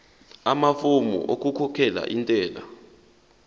amafomu okukhokhela intela